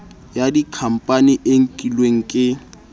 ya dikhampani e nkilweng ke